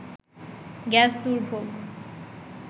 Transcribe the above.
gas দুর্ভোগ